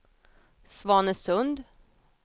Svanesund